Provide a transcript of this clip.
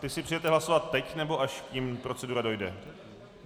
Ty si přejete hlasovat teď, nebo až k nim procedura dojde?